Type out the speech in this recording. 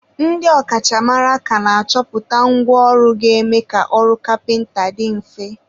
ndị ọ kachamara ka na-achọpụta ngwa ọrụ ga-eme ka ọrụ kapịnta dị mfe.